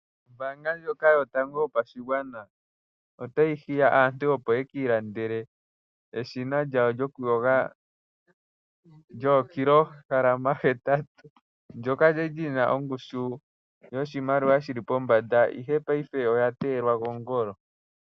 Ombaanga ndjoka yotango yopashigwana otayi hiya aantu opo yeki ilandele eshina lyawo lyokuyoga lyookilohalama hetatu, ndoka lyali lyina ongushu yoshimaliwa shili pombanda, ihe paife oya teyelwa kongolo.